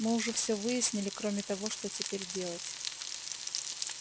мы уже все выяснили кроме того что теперь делать